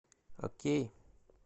окей